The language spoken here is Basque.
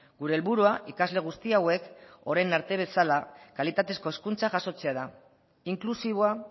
gure helburua ikasle guzti hauek orain arte bezala kalitatezko hezkuntza jasotzea da inklusiboa